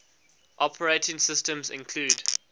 operating systems include